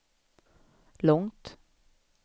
långt